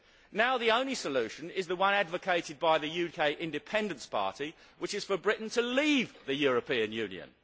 Now the only solution is the one advocated by the UK Independence Party, which is for Britain to leave the European Union.